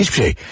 Heç bir şey.